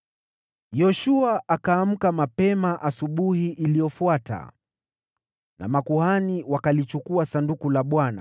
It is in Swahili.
Yoshua akaamka mapema asubuhi iliyofuata nao makuhani wakalichukua Sanduku la Bwana .